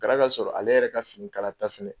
Kara ka sɔrɔ ale yɛrɛ ka finikalata fɛnɛ